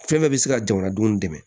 Fɛn bɛɛ bɛ se ka jamanadenw dɛmɛ